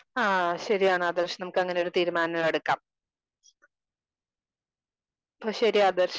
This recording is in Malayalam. സ്പീക്കർ 2 ആഹ് ശരിയാണ് ആദർശ്. നമുക്ക് അങ്ങനെയൊരു തീരുമാനമെടുക്കാം. അപ്പൊ ശരി ആദർശ്